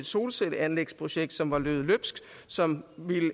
solcelleanlægsprojekt som var løbet løbsk som